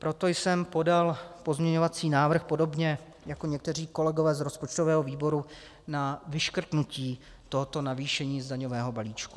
Proto jsem podal pozměňovací návrh podobně jako někteří kolegové z rozpočtového výboru na vyškrtnutí tohoto navýšení z daňového balíčku.